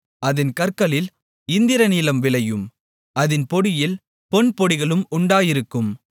அதின் கற்களில் இந்திரநீலம் விளையும் அதின் பொடியில் பொன்பொடிகளும் உண்டாயிருக்கும்